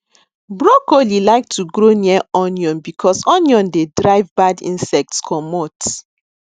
brocolli like to grow near onion because onion dey drive bad insects commot